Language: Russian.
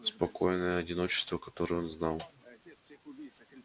спокойное одиночество которое он знал раньше кончилось